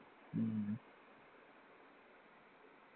ഉം